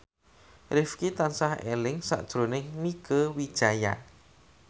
Rifqi tansah eling sakjroning Mieke Wijaya